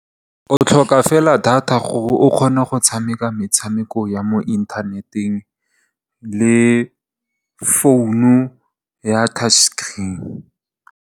O tlhoka fela data gore o kgone go tshameka metshameko ya mo inthaneteng le founu ya touch screen.